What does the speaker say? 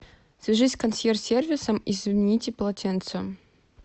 свяжись с консьерж сервисом и замените полотенца